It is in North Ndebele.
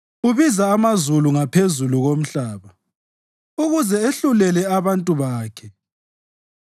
Ubiza amazulu ngaphezulu lomhlaba, ukuze ehlulele abantu bakhe: